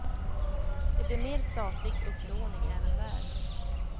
Det blir mer statlig upplåning även där.